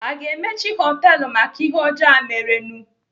Aga emechi họtelu maka ihe ọjọọ a merenụ?